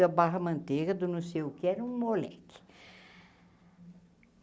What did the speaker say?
da Barra Manteiga, do não sei o que, era um moleque.